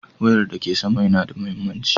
Wayar da ke sama yana da mahimmanci.